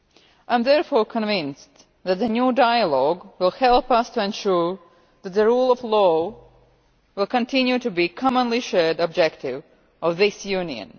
I am therefore convinced that the new dialogue will help us to ensure that the rule of law will continue to be a commonly shared objective of this Union.